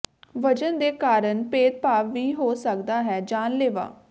ਵਜ਼ਨ ਦੇ ਕਾਰਨ ਭੇਦਭਾਵ ਵੀ ਹੋ ਸਕਦਾ ਹੈ ਜਾਨਲੇਵਾ